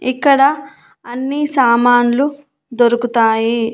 ఇక్కడ అన్నీ సామాన్లు దొరుకుతాయి.